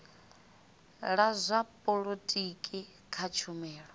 la zwa polotiki kha tshumelo